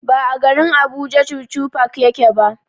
Ba a garin Abuja chuchu park yake ba.